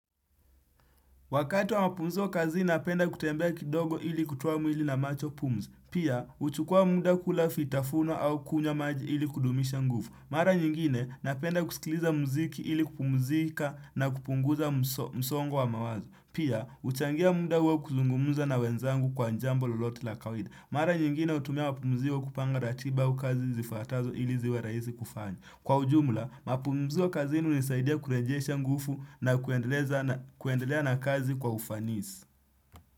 Wakati wa mapumziko kazi napenda kutembea kidogo ili kutoa mwili na macho pumzi. Pia, huchukua muda kula fitafuno au kunywa maji ili kudumisha nguvu. Mara nyingine, napenda kusikiliza muziki ili kupumzika na kupunguza msongo wa mawazo. Pia, huchangia muda wa kuzungumza na wenzangu kwa jambo lolote la kawaida. Mara nyingine hutumia mapumziko kupanga ratiba au kazi zifuatazo ili ziwe rahisi kufanya. Kwa ujumla, mapumziko kazini hunisaidia kurejesha nguvu na kuendelea na kazi kwa ufanisi.